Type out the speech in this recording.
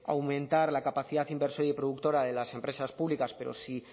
aumentar la capacidad inversora y productora de las empresas públicas pero sí